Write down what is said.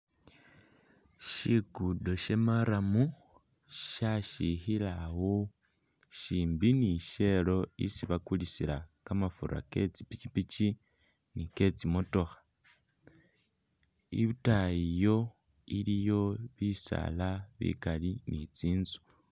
Shikudo sha maram shashikhila awo shimbi ni shell isi bakulisila kamafura ke tsi pishipishi ni ke tsi motokha, itayi iyo iliyo bisaala bikali ni tsinzu.